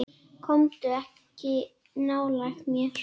Komdu ekki nálægt mér.